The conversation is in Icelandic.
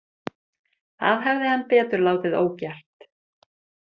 Það hefði hann betur látið ógert.